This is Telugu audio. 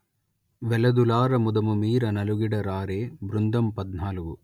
వెలదులార ముదముమీర నలుగిడ రారే బృందంపధ్నాలుగు